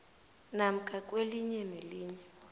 namkha kwelinye nelinye